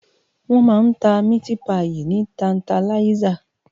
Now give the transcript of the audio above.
Wòn má n tá miti páyi ni tántáláyisá